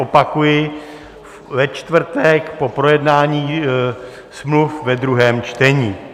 Opakuji, ve čtvrtek po projednání smluv ve druhém čtení.